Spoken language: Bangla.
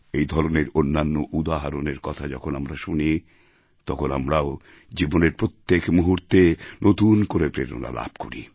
এই ধরনের অন্যান্য উদাহরণের কথা যখন আমরা শুনি তখন আমরাও জীবনের প্রত্যেক মুহূর্তে নতুন করে প্রেরণা লাভ করি